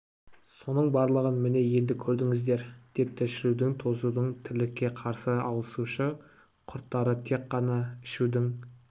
соның болғанын міне енді көрдіңіздер депті шірудің тозудың тірлікке қарсы алысушы құрттары тек қана ішудің